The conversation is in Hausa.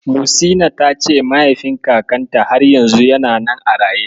Muhsina ta ce mahaifin kakanta har yanzu yana nan a raye.